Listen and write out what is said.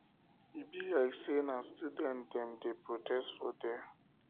e be like sey na student dem dey protest for there